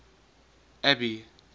abby